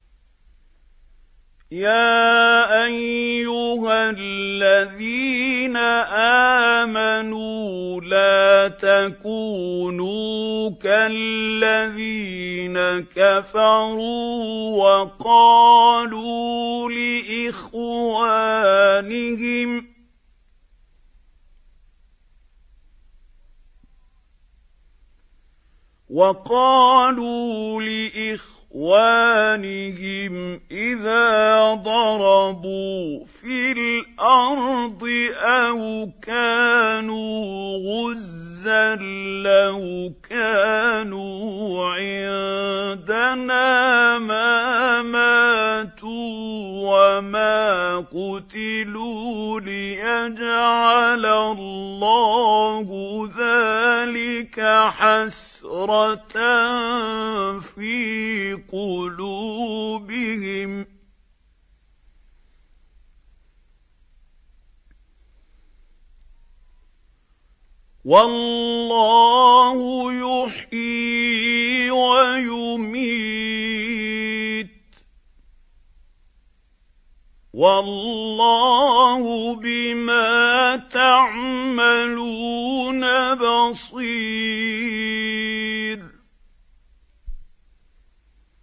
يَا أَيُّهَا الَّذِينَ آمَنُوا لَا تَكُونُوا كَالَّذِينَ كَفَرُوا وَقَالُوا لِإِخْوَانِهِمْ إِذَا ضَرَبُوا فِي الْأَرْضِ أَوْ كَانُوا غُزًّى لَّوْ كَانُوا عِندَنَا مَا مَاتُوا وَمَا قُتِلُوا لِيَجْعَلَ اللَّهُ ذَٰلِكَ حَسْرَةً فِي قُلُوبِهِمْ ۗ وَاللَّهُ يُحْيِي وَيُمِيتُ ۗ وَاللَّهُ بِمَا تَعْمَلُونَ بَصِيرٌ